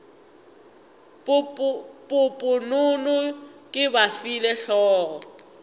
poponono ke ba file hlogo